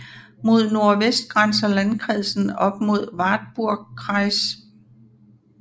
Mod nordvest grænser landkredsen op mod Wartburgkreis